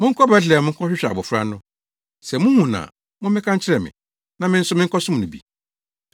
“Monkɔ Betlehem nkɔhwehwɛ abofra no. Sɛ muhu no a, mommɛka nkyerɛ me, na me nso menkɔsom no bi.”